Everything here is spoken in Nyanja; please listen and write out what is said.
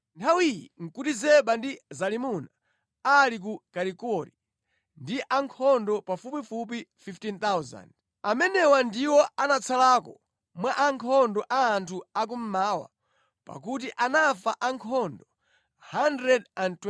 Nthawi iyi nʼkuti Zeba ndi Zalimuna ali ku Karikori ndi ankhondo pafupifupi 15,000. Amenewa ndiwo anatsalako mwa ankhondo a anthu akummawa; pakuti anafa ankhondo 120,000.